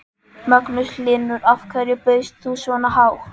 Magnús Hlynur: Af hverju bauðst þú svona hátt?